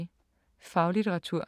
Faglitteratur